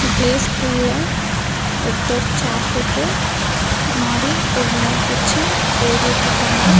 Play ஸ்கூல்ல ஒருத்தர் chair போட்டு முன்னாடி ஒரு நோட் வெச்சி எழுதிட்ருக்காங்க.